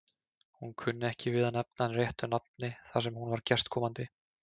Hún kunni ekki við að nefna hann réttu nafni þar sem hún var gestkomandi.